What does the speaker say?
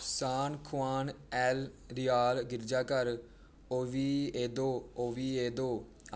ਸਾਨ Juan El Real ਗਿਰਜਾਘਰ Oviedo Oviedo